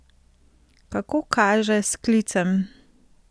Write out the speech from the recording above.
Kako kaže s sklicem?